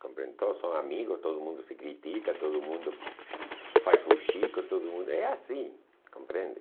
compreende? todos são amigos, todo mundo se critica, todo mundo faz fuxico, todo mundo... É assim, compreende?